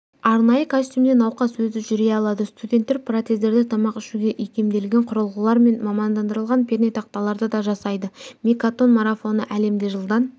арнайы костюмде науқас өзі жүре алады студенттер протездерді тамақ ішуге икемделген құрылғылар мен мамандандырылған пернетақталарды да жасайды мейкатон марафоны әлемде жылдан